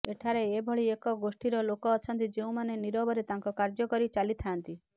ଏଠାରେ ଏଭଳି ଏକ ଗୋଷ୍ଠୀର ଲୋକ ଅଛନ୍ତି ଯେଉଁମାନେ ନିରବରେ ତାଙ୍କ କାର୍ଯ୍ୟ କରି ଚାଲିଥାଆନ୍ତି